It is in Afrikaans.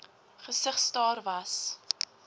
gesig staar vas